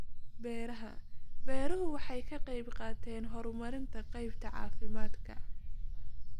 Beeraha beeruhu waxay ka qaybqaataan horumarinta qaybta caafimaadka.